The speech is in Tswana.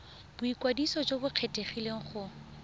boikwadiso jo bo kgethegileng go